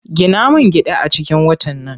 Gina min gida a cikin watan nan.